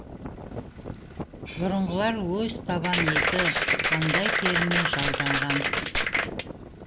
бұрынғылар өз табан еті маңдай теріне жалданған